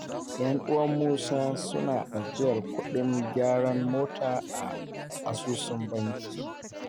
Ƴan'uwan Musa suna ajiyar kuɗin gyaran mota a asusun banki.